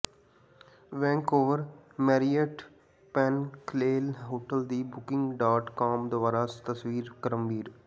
Vancouver Marriott pinnacle hotel ਦੀ booking dot com ਦੁਆਰਾ ਤਸਵੀਰ ਕ੍ਰਮਵਾਰ